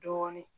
Dɔɔnin